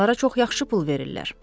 Onlara çox yaxşı pul verirlər.